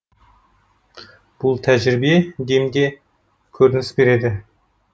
бұл тәжірибе демде де көрініс береді